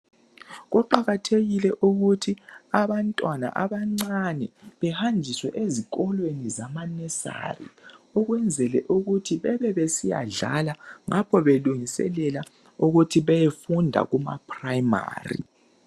Kuqakathekile ukuthi abantwana abancane behanjiswe ezikolweni zama nursery ukwenzela ukuthi bebe besiyadlala ngapho belungiselela ukuthi beyefunda Kuma primary